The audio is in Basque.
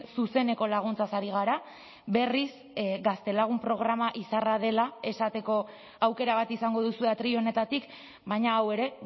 zuzeneko laguntzaz ari gara berriz gaztelagun programa izarra dela esateko aukera bat izango duzue atril honetatik baina hau ere